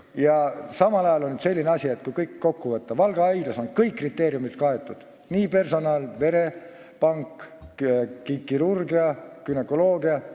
Kui kõik see kokku võtta, siis on selline asi, et Valga haiglas on kõik kriteeriumid täidetud, see puudutab personali, verepanka, kirurgiat ja ka günekoloogiat.